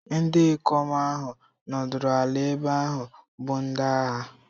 Ndi ikom ahụ nọdụrụ ala ebe ahụ bụ ndị agha.